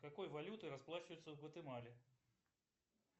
какой валютой расплачиваются в гватемале